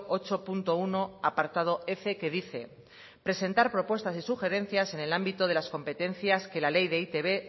ocho punto uno apartado f que dice presentar propuestas y sugerencias en el ámbito de las competencias que la ley de e i te be